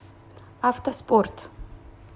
автоспорт